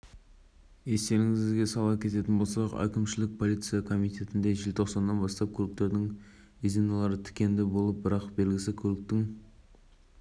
белгіні алу керектігі ескертіледі егер полиция қызметкері белгісі болмаған жүргізушіге айыппұл салса онда ол қызметкерге